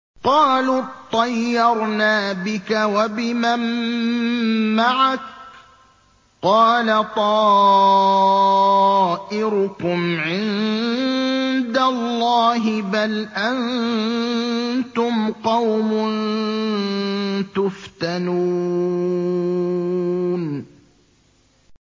قَالُوا اطَّيَّرْنَا بِكَ وَبِمَن مَّعَكَ ۚ قَالَ طَائِرُكُمْ عِندَ اللَّهِ ۖ بَلْ أَنتُمْ قَوْمٌ تُفْتَنُونَ